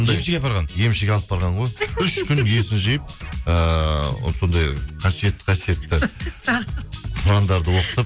емшіге апарған емшіге алып барған ғой үш күн есін жиып ыыы сондай қасиетті қасиетті құрандарды оқытып